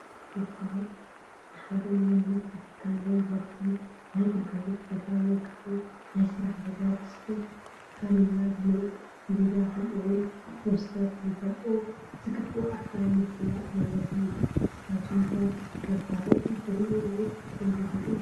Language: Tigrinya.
መፋለጢ፡- ንሓደ ናይ ምህርቲ ትካል ወይ ዘርፊ ፣ ናይ ግልጋሎት ቦታ ወይ ከዓ ናይ ስራሕ ቦታ ብፅሑፍ ታፔላ ብምልጣፍ፣ ብሚድያ ከምኡ ውን ብፖስተር ንኽፈልጦ ዝግበኦ ኣካል ምፍላጥ ማለት እዩ፡፡ ንስኻትኩም ከ መፋለጢትሪኡ ወይ ተንብቡ ዶ?